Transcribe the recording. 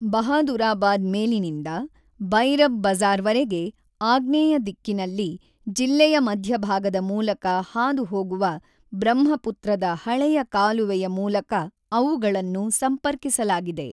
ಬಹಾದುರಾಬಾದ್ ಮೇಲಿನಿಂದ ಭೈರಬ್ ಬಜಾ಼ರ್‌ವರೆಗೆ ಆಗ್ನೇಯ ದಿಕ್ಕಿನಲ್ಲಿ ಜಿಲ್ಲೆಯ ಮಧ್ಯಭಾಗದ ಮೂಲಕ ಹಾದುಹೋಗುವ ಬ್ರಹ್ಮಪುತ್ರದ ಹಳೆಯ ಕಾಲುವೆಯ ಮೂಲಕ ಅವುಗಳನ್ನು ಸಂಪರ್ಕಿಸಲಾಗಿದೆ.